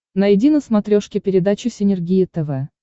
найди на смотрешке передачу синергия тв